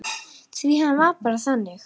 Því hann var bara þannig.